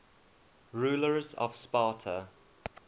rulers of sparta